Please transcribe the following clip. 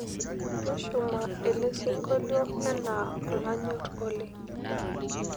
tushuma elesiongolio enaa olanyor oleng